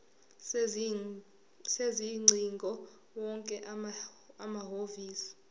sezingcingo wonke amahhovisi